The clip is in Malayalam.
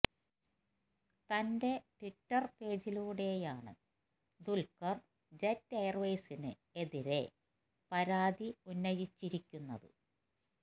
തന്റെ ട്വിറ്റര് പേജിലൂടെയാണ് ദുല്ഖര് ജെറ്റ് എയര്വേസിന് എതിരെ പരാതി ഉന്നയിച്ചിരിക്കുന്നത്